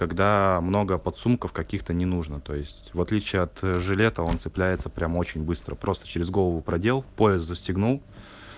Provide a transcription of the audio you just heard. когда много подсумков каких-то не нужно то есть в отличие от жилета он цепляется прямо очень быстро просто через голову продел пояс застегнул